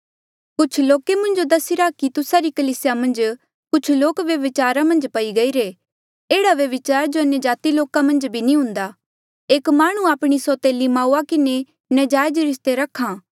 कुछ लोके मुंजो दसिरा कि तुस्सा री कलीसिया मन्झ कुछ लोक व्यभिचार मन्झ पई गईरे पर एह्ड़ा व्यभिचार जो अन्यजाति लोके मन्झ भी नी हुन्दा एक माह्णुं आपणी सौतेली माऊआ किन्हें नजायज रिस्ता रख्हा